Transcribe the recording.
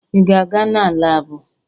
Ị ga-aga na laabụ?